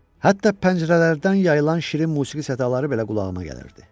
Hətta pəncərələrdən yayılan şirin musiqi sədaları belə qulağıma gələrdi.